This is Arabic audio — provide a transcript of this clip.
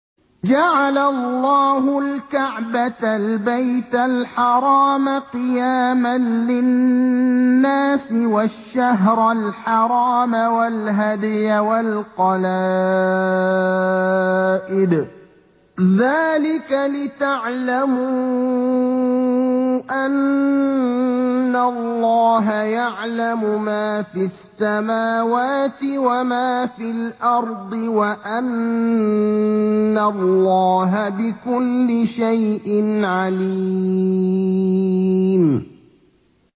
۞ جَعَلَ اللَّهُ الْكَعْبَةَ الْبَيْتَ الْحَرَامَ قِيَامًا لِّلنَّاسِ وَالشَّهْرَ الْحَرَامَ وَالْهَدْيَ وَالْقَلَائِدَ ۚ ذَٰلِكَ لِتَعْلَمُوا أَنَّ اللَّهَ يَعْلَمُ مَا فِي السَّمَاوَاتِ وَمَا فِي الْأَرْضِ وَأَنَّ اللَّهَ بِكُلِّ شَيْءٍ عَلِيمٌ